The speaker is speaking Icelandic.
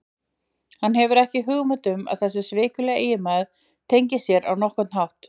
Hann hefur ekki hugmynd um að þessi svikuli eiginmaður tengist sér á nokkurn hátt.